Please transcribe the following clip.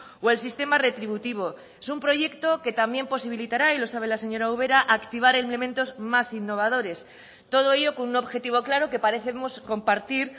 o el sistema retributivo es un proyecto que también posibilitará y lo sabe la señora ubera activar elementos más innovadores todo ello con un objetivo claro que parecemos compartir